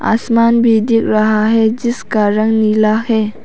आसमान भी दिख रहा है जिसका रंग नीला है।